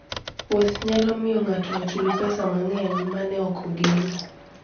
Wuoth nyalo miyo ng'ato ochul pesa mang'eny ma ne ok ogeno.